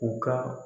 U ka